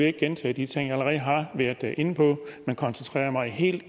ikke gentage de ting jeg allerede har været inde på men koncentrere mig helt